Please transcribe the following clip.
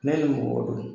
Ne ni mɔgɔ do